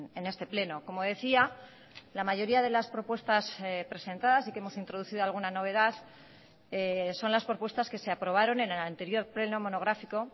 en este pleno como decía la mayoría de las propuestas presentadas sí que hemos introducido alguna novedad son las propuestas que se aprobaron en el anterior pleno monográfico